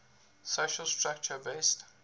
social structure based